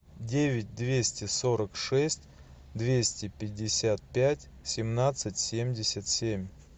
девять двести сорок шесть двести пятьдесят пять семнадцать семьдесят семь